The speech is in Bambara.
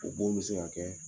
O bon be se ka kɛ